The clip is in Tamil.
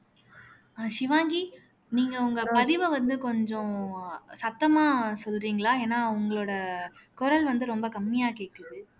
ஆஹ் ஷிவாங்கி நீங்க உங்க பதிவை வந்து கொஞ்சம் சத்தமா சொல்றீங்களா ஏன்னா உங்களோட குரல் வந்து ரொம்ப கம்மியா கேட்குது